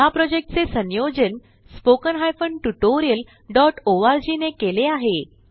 ह्या प्रॉजेक्टचे संयोजन httpspoken tutorialorg ने केले आहे